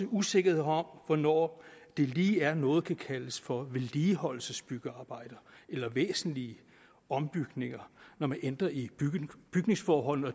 usikkerhed om hvornår det lige er noget kan kaldes for vedligeholdelsesbyggearbejder eller væsentlige ombygninger når man ændrer i bygningsforholdene og